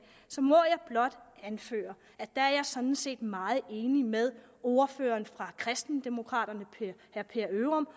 så må jeg blot anføre at der er jeg sådan set meget enig med ordføreren fra kristendemokraterne herre per ørum